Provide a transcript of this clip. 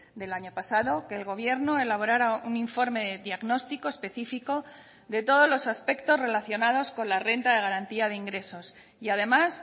del año pasado que el gobierno elaborara un informe de diagnóstico específico de todos los aspectos relacionados con la renta de garantía de ingresos y además